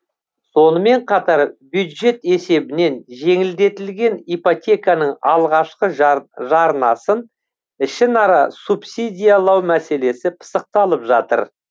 сонымен қатар бюджет есебінен жеңілдетілген ипотеканың алғашқы жарнасын ішінара субсидиялау мәселесі пысықталып жатыр